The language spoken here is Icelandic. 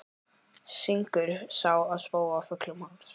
Syngur Sá ég spóa fullum hálsi.